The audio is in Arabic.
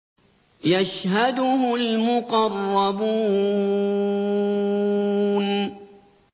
يَشْهَدُهُ الْمُقَرَّبُونَ